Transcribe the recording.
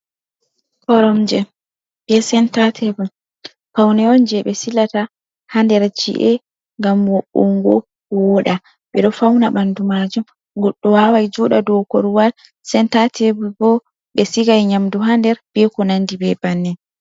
Koromje be senta tebul bo paune on je ɓe silata ha nder chi’e, ngam mo'ungo woda, be do fauna bandu majum, goɗɗo wawai joɗa dou korowal. Senta tebul bo, be sigai nyamdu ha nder ɓe ko nandi ɓe banin.